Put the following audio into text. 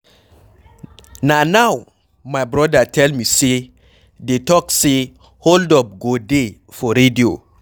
Na now my brother tell me say dey talk say hold up go dey for radio